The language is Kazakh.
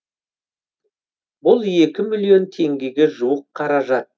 бұл екі миллион теңгеге жуық қаражат